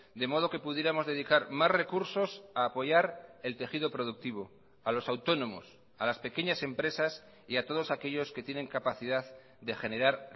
de modo que pudiéramos dedicar más recursos a apoyar el tejido productivo a los autónomos a las pequeñas empresas y a todos aquellos que tienen capacidad de generar